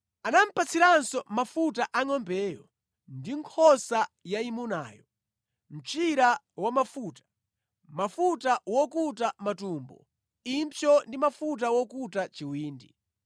Anamupatsiranso mafuta a ngʼombeyo ndi nkhosa yayimunayo: mchira wamafuta, mafuta wokuta matumbo, impsyo ndi mafuta wokuta chiwindi.